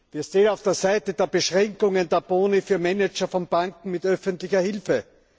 Wir stehen auf der Seite der Beschränkungen von Boni für Manager von Banken mit öffentlicher Hilfe.